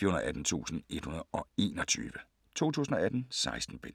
418121 2018. 16 bind.